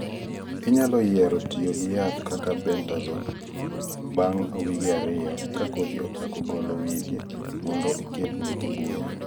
inyalo yiero tiyo gi yath kaka bentazone bang wige ariyo ka kodhi ochako golo wigi mondo ikedne buya.